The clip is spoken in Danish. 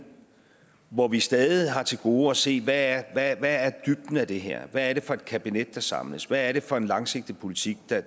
hvor vi stadig har til gode at se hvad dybden af det her er hvad det er for et kabinet der samles hvad det er for en langsigtet politik der